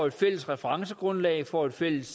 et fælles referencegrundlag får et fælles